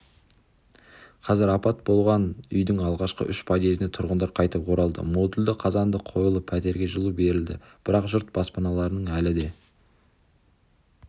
қазір апат болған үйдің алғашқы үш подъезіне тұрғындар қайтып оралды модульді қазандық қойылып пәтерге жылу берілді бірақ жұрт баспаналарының әлі де